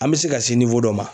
An bɛ se ka se dɔ ma